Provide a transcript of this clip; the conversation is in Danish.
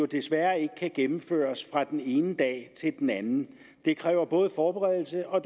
desværre ikke kan gennemføres fra den ene dag til den anden det kræver både forberedelse og